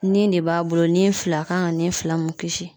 Nin de b'a bolo nin fila kan ka nin fila mun kisi